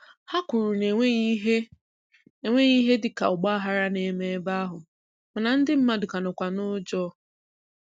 Ha kwuru na enweghị ihe enweghị ihe dịka ọgbaaghara na-eme ebe ahụ mana ndị mmadụ ka nọkwa n'ụjọ.